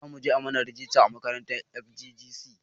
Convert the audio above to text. Zamuje a mana rajista a makarantar FGGC